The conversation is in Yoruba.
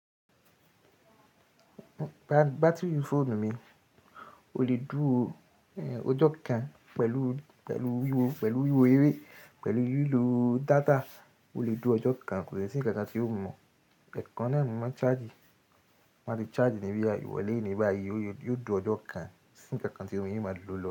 Ba-batiri fóònù mi o le dúró, ehn, ọjọ́ kan pẹ̀lú, pẹ̀lú wíwo, pẹ̀lú wíwo eré, pẹ̀lú lílo data, o le dúró ọjọ́ kan, kò de sí ǹkan tí ó mu Ẹ̀ẹ̀kan náà máa ń charge, ti n báa ti charge níbí irọlé bàyii, yóò di ọjọ́ kan sí ǹkan kan tí o mu n máa lò lọ.